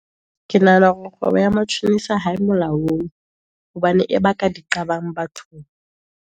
Ke nahana hore kgwebo ya matjhonisa ha e molaong, hobane e ba ka di qabang bathong.